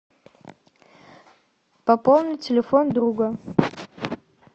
пополнить телефон друга